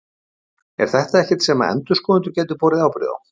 Er þetta ekkert sem að endurskoðendur gætu borið ábyrgð á?